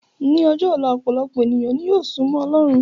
Ní ọjọ́ ọ̀la, ọpọ̀lọpọ̀ ènìyàn ni yóò súmọ́ ọlọ́run